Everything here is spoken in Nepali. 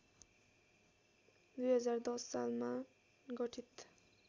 २०१० सालमा गठित